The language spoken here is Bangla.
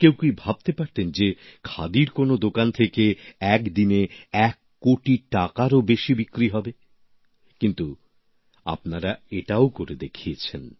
কেউ কি ভাবতে পারতেন যে খাদির কোনও দোকান থেকে এক দিনে এক কোটি টাকারও বেশি বিক্রি হবে কিন্তু আপনারা এটাও করে দেখিয়েছেন